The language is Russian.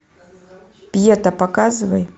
пьета показывай